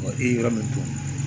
e ye yɔrɔ min dɔn